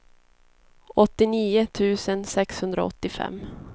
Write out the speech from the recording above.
åttionio tusen sexhundraåttiofem